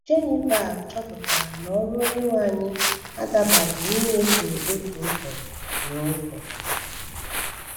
Genival chọpụtara na ọrụ Onyenwe anyị adabaghị n’ịnyefe otu ụzọ n’ụzọ (tithes).